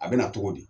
A bɛ na cogo di